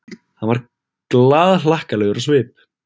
Hann var glaðhlakkalegur á svip.